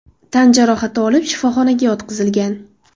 tan jarohati olib shifoxonaga yotqizilgan.